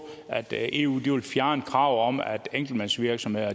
altså at eu vil fjerne kravet om at enkeltmandsvirksomheder